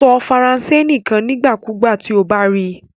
Sọ Faranse nikan nigbakugba ti o ba ri i